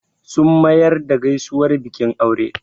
Sun mayar da gaisuwar bikin aure